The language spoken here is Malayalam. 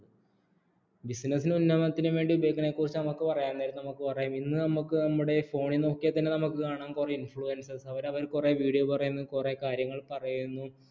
business നും ഉന്നമനത്തിനും വേണ്ടി ഉപയോഗിക്കുന്നതിനെക്കുറിച്ച് നമുക്ക് പറയാം നമുക്ക് ഇന്ന് നമുക്ക് നമ്മുടെ phone ൽ നോക്കിയാൽ തന്നെ നമുക്ക് കാണാം influvencers അവർ അവരുടെ കൊറേ video പറയുന്നു കുറെ കാര്യങ്ങൾ പറയുന്നു